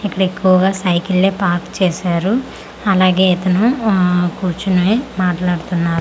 ఇక్కడ ఎక్కువగా సైకిల్లే పార్క్ చేశారు అలాగే ఇతను ఆ కూర్చుని మాట్లాడుతున్నా--